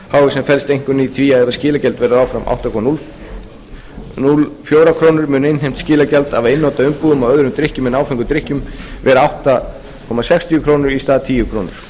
sem felst einkum í því að ef skilagjald verður áfram átta komma núll fjórar krónur mun innheimt skilagjald af einnota umbúðum af öðrum drykkjum en áfengum drykkjum vera átta komma sextíu krónur í stað tíu komma núll núll krónur